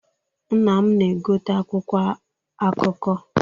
Nna m na-egote akwụkwọ akụkọ.